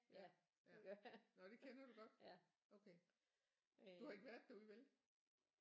Ja nåh det kender du godt okay du har ikke været derude vel